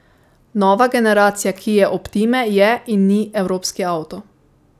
Nova generacija kie optime je in ni evropski avto.